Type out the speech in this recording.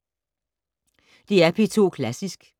DR P2 Klassisk